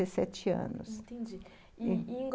Entendi, e e em Go